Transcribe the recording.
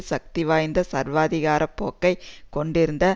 சக்திவாய்ந்த சர்வாதிகார போக்கை கொண்டிருந்த